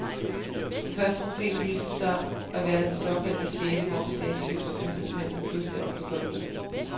Det første problem viste sig at være det såkaldte sjette momsdirektiv, som embedsmændene pludselig omfortolkede.